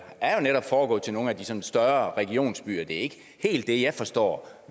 foregået til nogle af de sådan større regionsbyer det er ikke helt det jeg forstår